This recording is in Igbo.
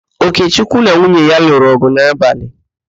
Okechukwu na nwunye ya lụrụ ọ̀gụ̀ n'abalị.